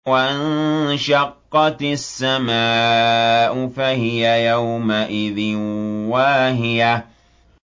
وَانشَقَّتِ السَّمَاءُ فَهِيَ يَوْمَئِذٍ وَاهِيَةٌ